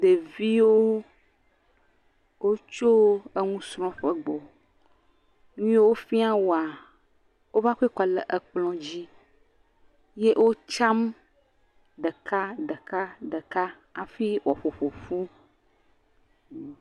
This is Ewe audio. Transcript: Nyɔnu aɖe nɔ nufiam viawo eye vi nyɔnu, nyɔnu la ƒe ɖa le yibɔ eye ɖevia ɖeka ɖo ŋkume glas, ɖevia ɖeka hã do ɖo ɖa eye nyɔnu eve ƒo ɖa ɖe ta.